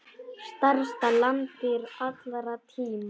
Stærsta landdýr allra tíma.